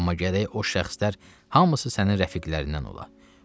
Amma gərək o şəxslər hamısı sənin rəfiqlərindən ola.